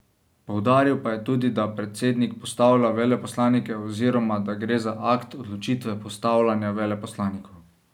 Poudaril pa je tudi, da predsednik postavlja veleposlanike oziroma da gre za akt odločitve postavljanja veleposlanikov.